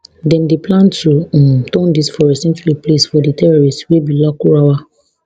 dem dey plan to um turn dis forest into a place for di terrorists wey be lakurawa